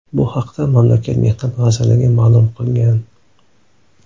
Bu haqda mamlakat Mehnat vazirligi ma’lum qilgan.